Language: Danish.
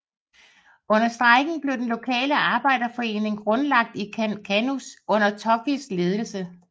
Under strejken blev den lokale arbejderforening grundlagt i Kannus under Tokois ledelse